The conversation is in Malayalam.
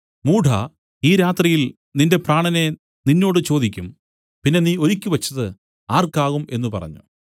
മൂഢാ ഈ രാത്രിയിൽ നിന്റെ പ്രാണനെ നിന്നോട് ചോദിക്കും പിന്നെ നീ ഒരുക്കിവെച്ചത് ആർക്കാകും എന്നു പറഞ്ഞു